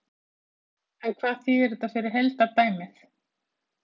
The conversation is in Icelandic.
En hvað þýðir þetta fyrir heildardæmið?